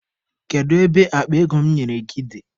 Kedu ebe akpa ego m nyere gị dị?